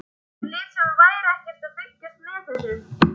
Hann lét sem hann væri ekkert að fylgjast með þessu.